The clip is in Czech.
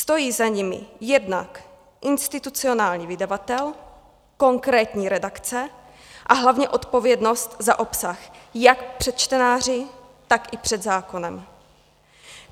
Stojí za nimi jednak institucionální vydavatel, konkrétní redakce, a hlavně odpovědnost za obsah jak před čtenáři, tak i před zákonem.